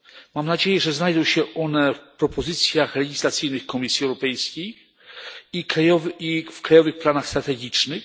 Mam nadzieję, że znajdą się one w propozycjach legislacyjnych Komisji Europejskiej i w krajowych planach strategicznych.